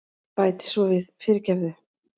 Bæti svo við, fyrirgefðu.